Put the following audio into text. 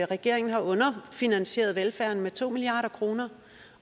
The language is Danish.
regeringen har underfinansieret velfærden med to milliard kroner